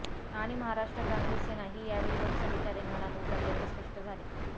आणि महाराष्ट्र क्रांती सेना ही यावेळी लोकसभेच्या रिंगणात उतरल्याचे स्पष्ट झाले